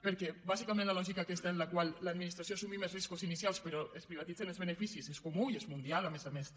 perquè bàsicament la lògica aquesta en la qual l’administració assumim els riscos inicials però es privatitzen els beneficis és comuna i és mundial a més a més també